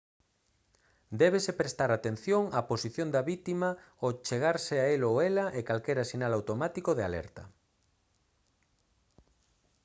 débese prestar atención á posición da vítima ao achegarse a el ou ela e calquera sinal automático de alerta